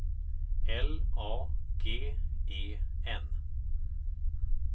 L A G E N